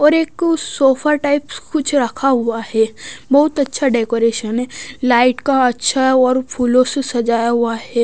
और एक sofa types कुछ रखा हुआ है बहुत अच्छा डेकोरेशन है लाइट का अच्छा और फूलों से सजाया हुआ है।